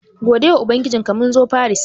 Godewa ubangijinka, mun zo Faris.